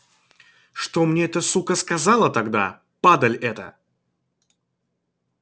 что мне эта сука сказала тогда падаль эта